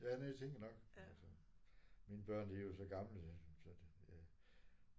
Ja det tænkte jeg nok men altså. Mine børn de er jo så gamle så det ja